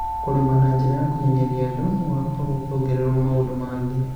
Kũrĩma na njĩra ya kũmenyeria andũ gũgakorũo kũngĩongererũo maũndũ mangĩ